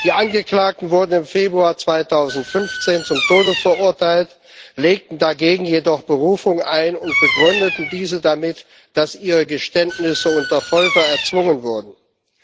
Die Angeklagten wurden im Februar 2015 zum Tode verurteilt, legten dagegen jedoch Berufung ein und begründeten diese damit, dass ihre Geständnisse unter Folter erzwungen worden waren.